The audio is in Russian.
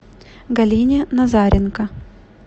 галине назаренко